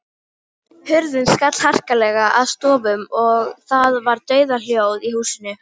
Hurðin skall harkalega að stöfum og það var dauðahljóð í húsinu.